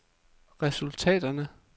resultaterne